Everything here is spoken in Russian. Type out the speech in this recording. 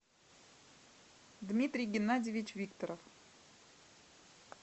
дмитрий геннадьевич викторов